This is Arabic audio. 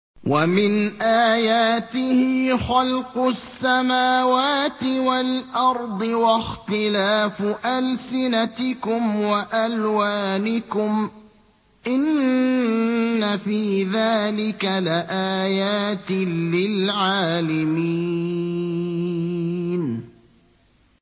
وَمِنْ آيَاتِهِ خَلْقُ السَّمَاوَاتِ وَالْأَرْضِ وَاخْتِلَافُ أَلْسِنَتِكُمْ وَأَلْوَانِكُمْ ۚ إِنَّ فِي ذَٰلِكَ لَآيَاتٍ لِّلْعَالِمِينَ